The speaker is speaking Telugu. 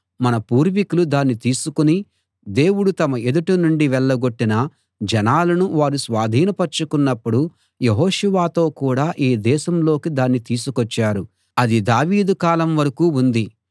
మన పూర్వీకులు దాన్ని తీసుకుని దేవుడు తమ ఎదుట నుండి వెళ్ళగొట్టిన జనాలను వారు స్వాధీనపర్చుకున్నప్పుడు యెహోషువతో కూడ ఈ దేశంలోకి దాన్ని తీసుకొచ్చారు అది దావీదు కాలం వరకూ ఉంది